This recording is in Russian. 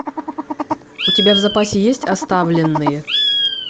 у тебя в запасе есть оставленные